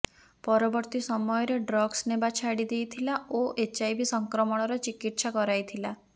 ପରବର୍ତ୍ତୀ ସମୟରେ ଡ୍ରଗସ୍ ନେବା ଛାଡ଼ି ଦେଇଥିଲା ଓ ଏଚଆଇଭି ସଂକ୍ରମଣର ଚିକିତ୍ସା କରାଇଥିଲା